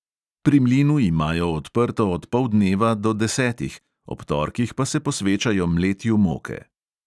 Pri mlinu imajo odprto od poldneva do desetih, ob torkih pa se posvečajo mletju moke.